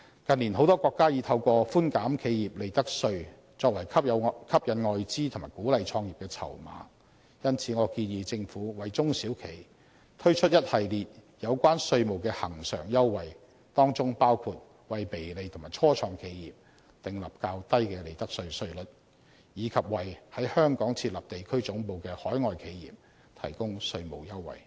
近年，很多國家已透過寬減企業利得稅作為吸引外資及鼓勵創業的籌碼，因此，我建議政府為中小企推出一系列有關稅務的恆常優惠，當中包括為微利及初創企業訂立較低的利得稅稅率，以及為在香港設立地區總部的海外企業提供稅務優惠。